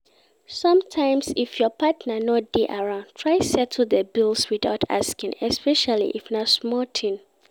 Sometimes if your partner no de around try settle di bills without asking especially if na small thing